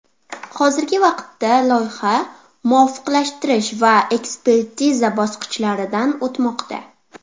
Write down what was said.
Hozirgi vaqtda loyiha muvofiqlashtirish va ekspertiza bosqichlaridan o‘tmoqda.